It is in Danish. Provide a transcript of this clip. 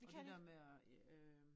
Og det der med at øh